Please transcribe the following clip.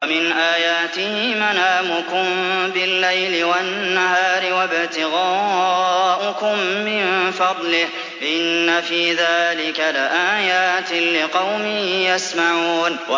وَمِنْ آيَاتِهِ مَنَامُكُم بِاللَّيْلِ وَالنَّهَارِ وَابْتِغَاؤُكُم مِّن فَضْلِهِ ۚ إِنَّ فِي ذَٰلِكَ لَآيَاتٍ لِّقَوْمٍ يَسْمَعُونَ